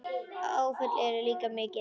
Afföll eru líka mikil.